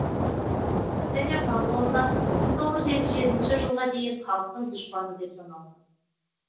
наталья павловна мың тоғыз жүз елу жетінші жылға дейін халықтың дұшпаны деп саналған